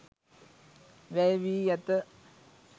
වැය වී ඇත